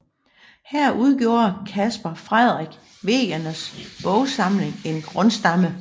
Her udgjorde Caspar Frederik Wegeners bogsamling en grundstamme